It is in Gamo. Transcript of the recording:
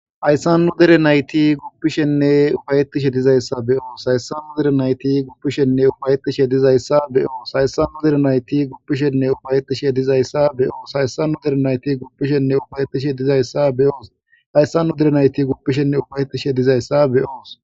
Hayssannu dere nayti guppishenne ufayettishe dizayssa beyoos hayssannu dere nayti guppishenne ufayetishe dizayssa beyoos hayssannu dere nayti guppishenne ufayettishe dizayssa beyoos hayssannu dere nayti guppishenne ufayetishe dizayssa beyoos hayssanu dere nayti guppishenne ufayetishe dizayssa be'oos